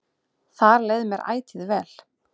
Þar leið mér ætíð vel.